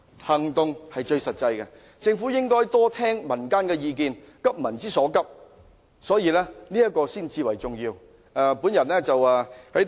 行動是最實際的，政府應該多聽取民間的意見，急民之所急，這才是最重要的。